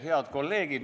Head kolleegid!